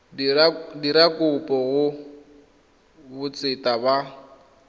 dira kopo go botseta ba